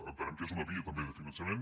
entenem que és una via també de finançament